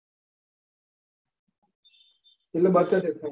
એટલે બચત જ છે.